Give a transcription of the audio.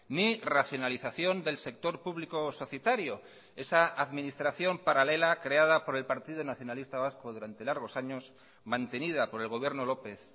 ni racionalización del sector público o societario esa administración paralela creada por el partido nacionalista vasco durante largos años mantenida por el gobierno lópez